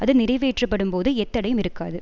அது நிறைவேற்றப்படும்போது எத்தடையும் இருக்காது